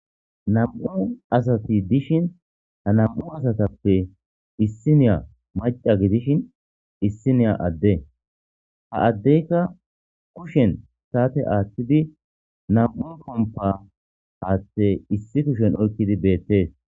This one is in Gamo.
Nam'u asati dishin nam'u asatappe issiniya mac'a gidishin issiniya Ade ha adiya kushen sate athidi nam'u pompa hathe issi kushen oykidi betes.